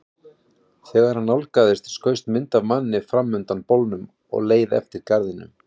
Þegar hann nálgaðist skaust mynd af manni fram undan bolnum og leið eftir garðinum.